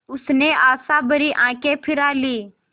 उसने आशाभरी आँखें फिरा लीं